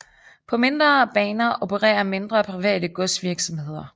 På mindre baner opererer mindre private godsvirksomheder